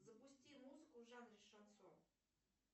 запусти музыку в жанре шансон